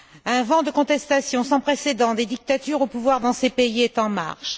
Un vent de contestation sans précédent des dictatures au pouvoir dans ces pays est en marche.